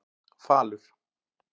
Falur